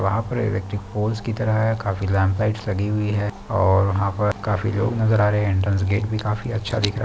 वहाँ पर electric pole की तरह काफी लैंप लाइटस लगी हुई है और वहाँ पर काफी लोग नजर आ रहे है एंट्रेंस गेट भी काफी अच्छा दिख रहा--